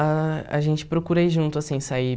Ah a gente procura ir junto, assim, sair.